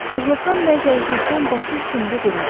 Aclıqdan və zəiflikdən başı üstündə durmurdu.